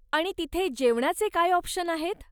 आणि तिथे जेवणाचे काय ऑप्शन आहेत?